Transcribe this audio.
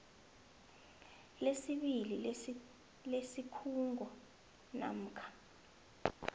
lesibili lesikhungo namkha